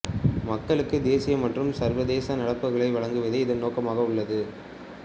மக்களுக்கு தேசிய மற்றும் சர்வதேச நடப்புகளை வழங்குவதே இதன் நோக்கமாக உள்ளது